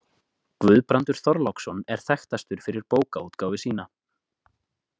Guðbrandur Þorláksson er þekktastur fyrir bókaútgáfu sína.